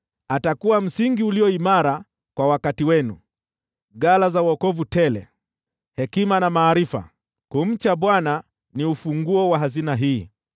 Atakuwa msingi ulio imara kwa wakati wenu, ghala za wokovu tele, hekima na maarifa; kumcha Bwana ni ufunguo wa hazina hii.